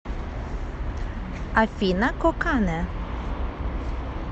афина кокане